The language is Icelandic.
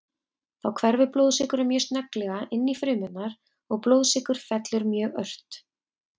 Þá hverfur blóðsykurinn mjög snögglega inn í frumurnar og blóðsykur fellur mjög ört.